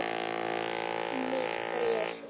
Með bréfi.